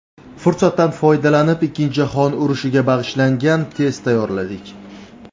Fursatdan foydalanib, Ikkinchi jahon urushiga bag‘ishlangan test tayyorladik.